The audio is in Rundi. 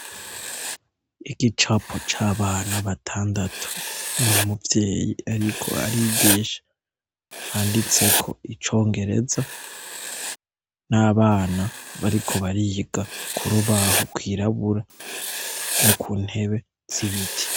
Igicapo c' abana batandatu n' umuvyeyi ariko arigisha, handitseko icongereza, n' abana bariko bariga ku rubaho rwirabura, no ku ntebe z' ibiti.